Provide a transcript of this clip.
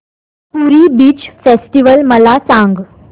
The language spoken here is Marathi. पुरी बीच फेस्टिवल मला सांग